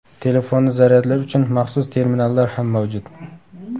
Telefonni zaryadlash uchun maxsus terminallar ham mavjud.